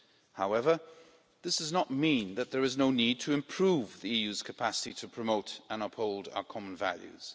However, this does not mean there is no need to improve the EU's capacity to promote and uphold our common values.